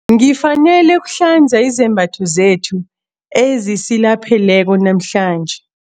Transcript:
Ngifanele ukuhlanza izembatho zethu ezisilapheleko namhlanje.